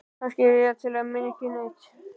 Kannski er ég minna en ekki neitt.